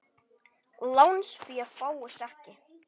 Lánsfé fáist ekki.